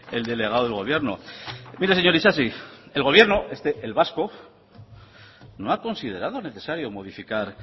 el delegado del gobierno mire señor isasi el gobierno este el vasco no ha considerado necesario modificar